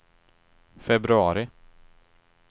februari